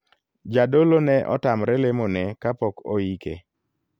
Jadolo ne otamre lemo ne kapok oike.